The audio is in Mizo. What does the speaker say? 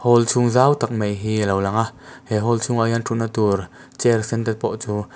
hall chhung zau tak mai hi a lo lang a he hall chhung ah hian ṭhutna tur chair sen te pawh chu--